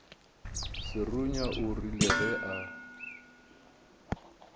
serunya o rile ge a